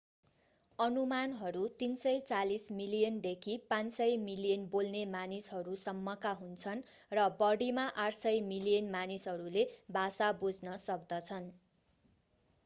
अनुमानहरू 340 मिलियनदेखि 500 मिलियन बोल्ने मानिसहरू सम्मका हुन्छन् र बढिमा 800 मिलियन मानिसहरूले भाषा बुझ्न सक्दछन्